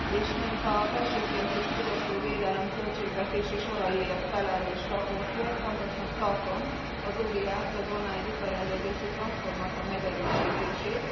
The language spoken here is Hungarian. És mint a belső piac és fogyasztóvédelem költségvetési soraiért felelős raportőr, fontosnak tartom az ODR t, az online vitarendezési platformnak a megerősítését.